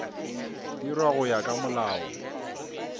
dirwa go ya ka molao